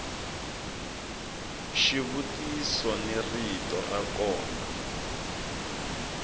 xivutiso ni rito ra kona